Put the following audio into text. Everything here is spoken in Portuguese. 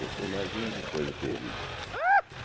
Você imagina que coisa terrível.